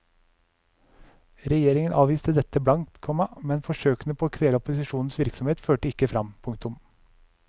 Regjeringen avviste dette blankt, komma men forsøkene på å kvele opposisjonens virksomhet førte ikke fram. punktum